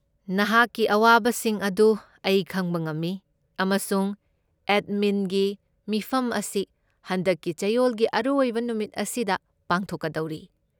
ꯅꯍꯥꯛꯀꯤ ꯑꯋꯥꯕꯁꯤꯡ ꯑꯗꯨ ꯑꯩ ꯈꯪꯕ ꯉꯝꯃꯤ ꯑꯃꯁꯨꯡ ꯑꯦꯗꯃꯤꯟꯒꯤ ꯃꯤꯐꯝ ꯑꯁꯤ ꯍꯟꯗꯛꯀꯤ ꯆꯌꯣꯜꯒꯤ ꯑꯔꯣꯏꯕ ꯅꯨꯃꯤꯠ ꯑꯁꯤꯗ ꯄꯥꯡꯊꯣꯛꯀꯗꯧꯔꯤ꯫